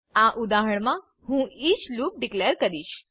આ ઉદાહરણમાં હું ઇચ લૂપ ડીકલેર કરીશ